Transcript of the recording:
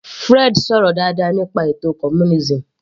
Fred sọ̀rọ̀ dáadáa nípa communism